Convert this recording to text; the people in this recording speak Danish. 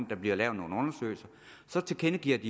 der bliver lavet nogle undersøgelser tilkendegivet